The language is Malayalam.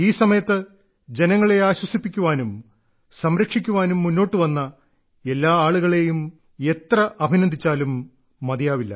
ഈ സമയത്ത് ജനങ്ങളെ ആശ്വസിപ്പിക്കാനും സംരക്ഷിക്കാനും മുന്നോട്ടുവന്ന എല്ലാ ആളുകളെയും എത്ര അഭിനന്ദിച്ചാലും മതിയാവില്ല